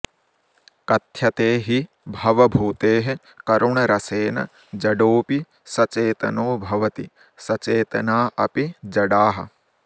कथ्यते हि भवभूतेः करुणरसेन जडोऽपि सचेतनो भवति सचेतना अपि जडाः